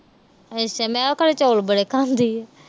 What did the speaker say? ਅੱਛਾ। ਮੈਂ ਕਹਾ ਉਹ ਚੌਲ ਬੜੇ ਖਾਂਦੀ ਆ।